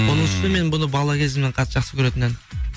оның үстінен мен бұны бала кезімнен қатты жақсы көретін ән